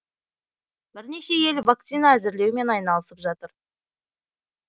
бірнеше ел вакцина әзірлеумен айналысып жатыр